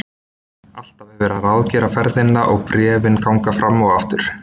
Alltaf er verið að ráðgera ferðina og bréfin ganga fram og aftur.